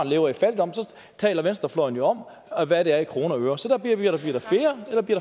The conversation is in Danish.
lever i fattigdom taler venstrefløjen jo om hvad det er i kroner og øre så bliver der flere eller bliver